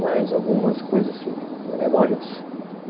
Mas algumas coisas assim, memórias.